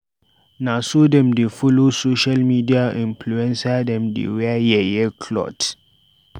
Na so dem dey follow social media influencer dem dey wear yeye clot.